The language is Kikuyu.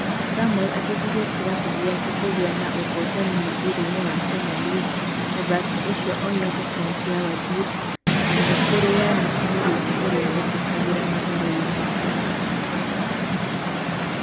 Samuel ateithirie kiravu gĩake kugia na uvotani mũvira-inĩ wa Kenyan League muthaki ucio oimite Counti ya Wajir na nĩ kũrĩ Yannick Muriuki ũrĩa ũthakagĩra Mathare United.